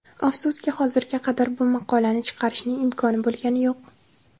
Afsuski, hozirgi qadar bu maqolani chiqarishning imkoni bo‘lgani yo‘q.